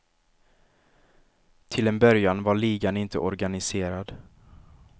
Till en början var ligan inte organiserad.